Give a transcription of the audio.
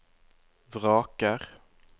vraker